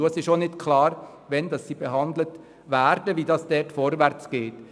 Es ist auch nicht klar, wann sie behandelt werden und auf welche Weise es vorwärtsgeht.